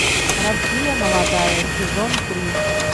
россия молодая сезон три